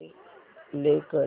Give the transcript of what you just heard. play कर